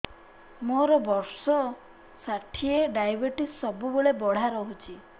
ମୋର ବର୍ଷ ଷାଠିଏ ଡାଏବେଟିସ ସବୁବେଳ ବଢ଼ା ରହୁଛି